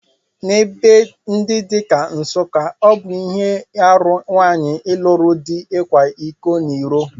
N'ebe ndi dị ka Nsukka, ọ bụ ihe aru nwanyị lụru di ịkwa iko n'iro